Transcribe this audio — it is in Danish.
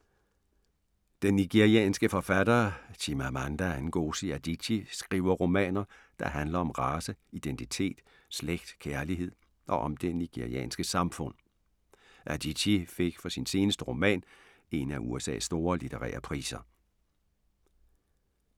Den nigerianske forfatter Chimamanda Ngozi Adichie skriver romaner, der handler om race, identitet, slægt, kærlighed og om det nigerianske samfund. Adichie fik for sin seneste roman en af USA's store litterære priser.